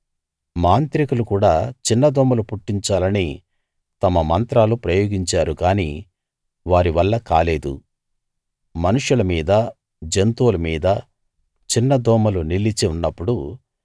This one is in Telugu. మాంత్రికులు కూడా చిన్నదోమలు పుట్టించాలని తమ మంత్రాలు ప్రయోగించారు గానీ వారి వల్ల కాలేదు మనుష్యుల మీదా జంతువుల మీదా చిన్న దోమలు నిలిచి ఉన్నప్పుడు